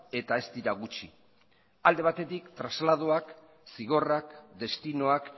eta ez dira gutxi alde batetik trasladoak zigorrak destinoak